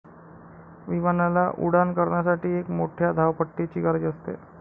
विमानाला उड्डाण करण्यासाठी एक मोठ्या धावपट्टीची गरज असते.